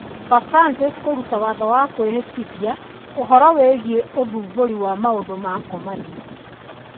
Papa Francis kũruta watho wa kwĩhĩtithia ũhoro wĩgiĩ gũthumbũrũo na maũndũ ma ngomanio